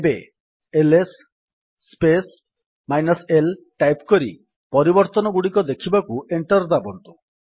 ଏବେ L S space -l type କରି ପରିବର୍ତ୍ତନଗୁଡିକ ଦେଖିବାକୁ ଏଣ୍ଟର୍ ଦାବନ୍ତୁ